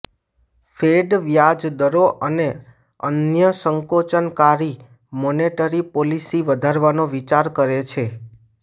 fed વ્યાજ દરો અને અન્ય સંકોચનકારી મોનેટરી પોલિસી વધારવાનો વિચાર કરે છે